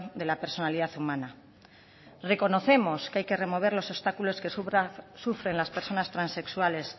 de la personalidad humana reconocemos que hay que remover los obstáculos que sufren las personas transexuales